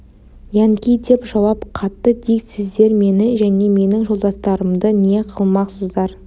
янки деп жауап қатты дик сіздер мені және менің жолдастарымды не қылмақсыздар